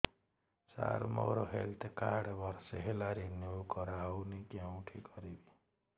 ସାର ମୋର health card ବର୍ଷେ ହେଲା ରିନିଓ କରା ହଉନି କଉଠି କରିବି